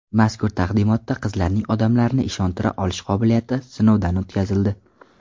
Mazkur taqdimotda qizlarning odamlarni ishontira olish qobiliyati sinovdan o‘tkazildi.